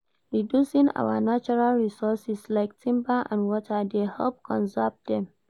Reducing our natural resources like timber and water dey help conserve dem.